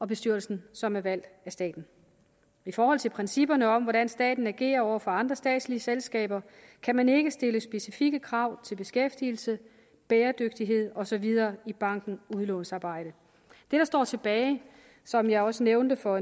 bestyrelsen som er valgt af staten i forhold til principperne om hvordan staten agerer over for andre statslige selskaber kan man ikke stille specifikke krav til beskæftigelse bæredygtighed og så videre i bankens udlånsarbejde det der står tilbage som jeg også nævnte for